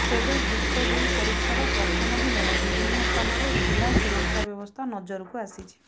ତେବେ ଯୁକ୍ତ ଦୁଇ ପରୀକ୍ଷାର ପ୍ରଥମ ଦିନରେ ବିଭିନ୍ନ ସ୍ଥାନରେ ଢିଲା ସୁରକ୍ଷା ବ୍ୟବସ୍ଥା ନଜରକୁ ଆସିଛି